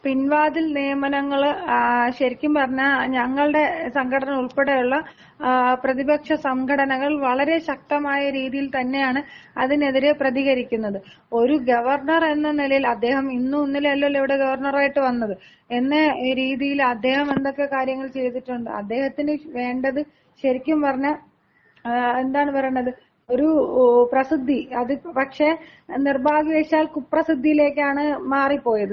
പിൻവാതിൽ നിയമനങ്ങള് ശരിക്കും പറഞ്ഞാൽ ഞങ്ങളുടെ സംഘടന ഉൾപ്പെടെയുള്ള പ്രതിപക്ഷ സംഘടനകൾ വളരെ ശക്തമായ രീതിയിൽ തന്നെയാണ് അതിനെതിരെ പ്രതികരിക്കുന്നത്. ഒരു ഗവർണർ എന്ന നിലയിൽ അദ്ദേഹം ഇന്നും ഇന്നലെയും അല്ലല്ലോ ഇവിടെ ഗവർണർ ആയിട്ട് വന്നത്. എന്ന രീതിയിൽ അദ്ദേഹം എന്തൊക്കെ കാര്യങ്ങൾ ചെയ്തിട്ടുണ്ട്? അദ്ദേഹത്തിന് വേണ്ടത് ശരിക്കും പറഞ്ഞാൽ എന്താണ് പറയണത് ഒരു പ്രസിദ്ധി പക്ഷെ നിർഭാഗ്യവശാൽ കുപ്രസിദ്ധയിലേക്കാണ് മാറിപ്പോയത്.